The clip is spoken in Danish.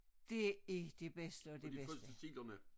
Det er det bedste af det bedste